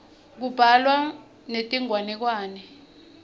kubhalwa netinganekwane